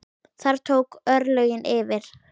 Þar tóku örlögin yfir.